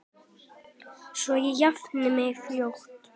Svo ég jafni mig fljótt.